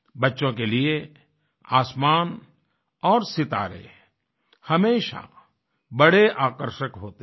बच्चों के लिए आसमान और सितारे हमेशा बड़े आकर्षक होते हैं